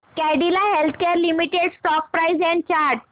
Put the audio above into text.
Cadila healthcare limited stock price and chart